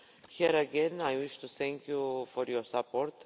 Here again, I wish to thank you for your support.